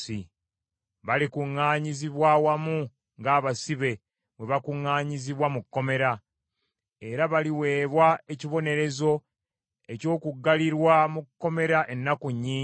Balikuŋŋaanyirizibwa wamu ng’abasibe bwe bakuŋŋanyirizibwa mu kkomera, era baliweebwa ekibonerezo eky’okuggalirwa mu kkomera ennaku ennyingi.